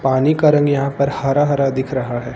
पानी का रंग यहां पर हरा हरा दिख रहा है।